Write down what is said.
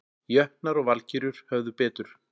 Jötnar og Valkyrjur höfðu betur